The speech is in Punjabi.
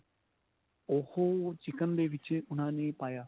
ਉਹ chicken ਦੇ ਵਿੱਚ ਉਨ੍ਹਾਂ ਨੇ ਪਾਇਆ.